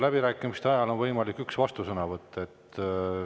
Läbirääkimiste ajal on siiski võimalik ainult üks vastusõnavõtt.